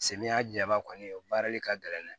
Samiya jaba kɔni o baarali ka gɛlɛn dɛ